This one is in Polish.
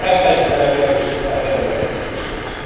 To nie prawda, że zarabiają 300 euro, jak to słyszeliśmy.